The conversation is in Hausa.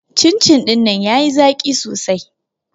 Cin-cin ɗinnan ya yi zaƙi sosai